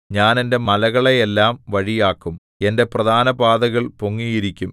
ഞാൻ എന്റെ മലകളെയെല്ലാം വഴിയാക്കും എന്റെ പ്രധാനപാതകൾ പൊങ്ങിയിരിക്കും